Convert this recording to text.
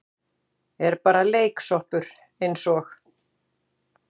Er bara leiksoppur eins og